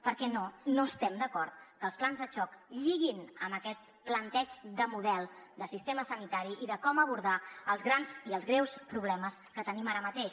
perquè no no estem d’acord que els plans de xoc lliguin amb aquest planteig de model de sistema sanitari i de com abordar els grans i els greus problemes que tenim ara mateix